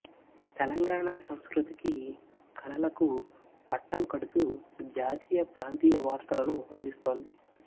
తెలంగాణ సంస్కృతికి కళలకు పట్టం కడుతూ జాతీయ ప్రాంతీయ వార్తలను అందిస్తోంది